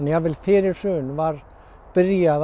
jafnvel fyrir hrun var byrjað